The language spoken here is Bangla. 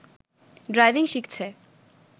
ড্রাইভিং শিখছে